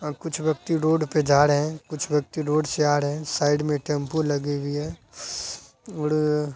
और कुछ व्यक्ति रोड पे जा रहे हैं कुछ व्यक्ति रोड से आ रहे हैं साइड में टेम्पु लगी हुई है और --